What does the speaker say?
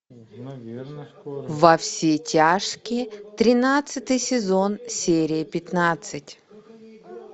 во все тяжкие тринадцатый сезон серия пятнадцать